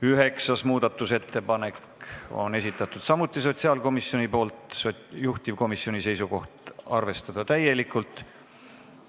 Üheksanda muudatusettepaneku on samuti esitanud sotsiaalkomisjon, juhtivkomisjoni seisukoht on arvestada seda täielikult.